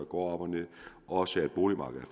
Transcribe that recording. går op og ned og også at boligmarkedet